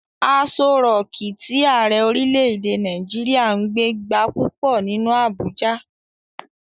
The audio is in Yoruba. Aso rọọ̀kí tí Ààrẹ orílè-èdè Nàìjíríà ń gbé gba púpọ̀ nínú Abuja.